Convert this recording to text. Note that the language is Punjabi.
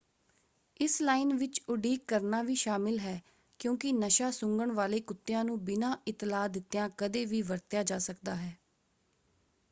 ਇਸ ਲਾਈਨ ਵਿੱਚ ਉਡੀਕ ਕਰਨਾ ਵੀ ਸ਼ਾਮਿਲ ਹੈ ਕਿਉਂਕਿ ਨਸ਼ਾ-ਸੁੰਘਣ ਵਾਲੇ ਕੁੱਤਿਆਂ ਨੂੰ ਬਿਨਾਂ ਇਤਲਾਹ ਦਿੱਤਿਆਂ ਕਦੇ ਵੀ ਵਰਤਿਆ ਜਾ ਸਕਦਾ ਹੈ।